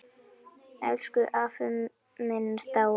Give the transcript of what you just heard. Elsku afi minn er dáinn.